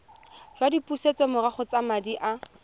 jwa dipusetsomorago tsa madi a